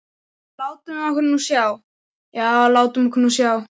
En látum okkur nú sjá, já, látum okkur nú sjá.